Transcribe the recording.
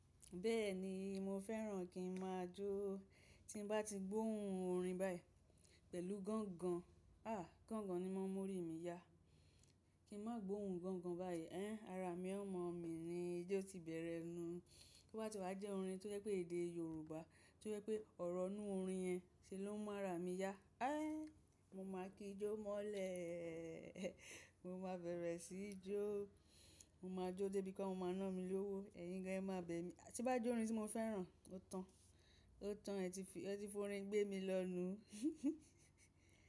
Bẹ́ẹ̀ni, mo fẹ́ràn kí n máa jó. Tí n bá ti gbóhùn orin báyìí pẹ̀lú gángan, à, gángan ni mọ́ mórí mi yá. Kí n má gbohùn gángan báyìí, ẹ́, ara mi ó mọ̀ mí ní. Ijo ti bẹ̀rẹ̀ nu? To bá ti wá jẹ́ orin tó jẹ́ pé èdè Yorùbá tó jẹ́ pé ọ̀rọ̀ inú orin yẹn ṣe ló máa ra mi yá. Ẹ́, mo máa kí jó mọ́lẹ̀. Mo máa bẹ̀rẹ̀ sí jó. Mo máa jó dé bí i kó mo máa ná mi lówó. Ẹ̀yin gán ẹ má bẹ̀ mí. Tí bá jẹ́ orin tí mo fẹ́ràn, ó tán. Ó tán, ẹ ti forín gbé mi lọ nù.